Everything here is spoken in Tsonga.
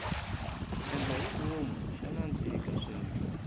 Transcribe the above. xiendlahivom xa nandzika swinene